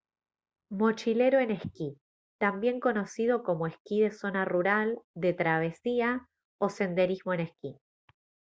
mochilero en esquí también conocido como esquí de zona rural de travesía o senderismo en esquí